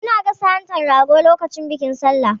Muna gasa hantan rago lokacin bikin Sallah.